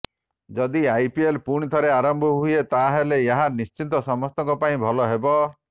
ଯଦି ଆଇପିଏଲ୍ ପୁଣିଥରେ ଆରମ୍ଭ ହୁଏ ତାହେଲେ ଏହା ନିଶ୍ଚିତ ସମସ୍ତଙ୍କ ପାଇଁ ଭଲ ହେବ